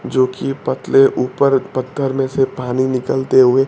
जो की पतले ऊपर पत्थर में से पानी निकालते हुए--